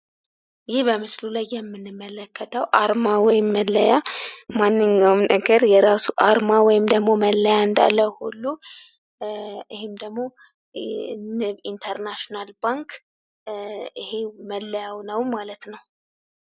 ይህ በምስሉ ላይ የምንመለከተው አርማ ወይም መለያ ማንኛውም ነገር የራሱ አርማ ወይም መለያ እንዳለው ሁሉ ይህ ደግሞ የንብ ኢንተርናሽናል ባንክ መለያው ነው ማለት ነው።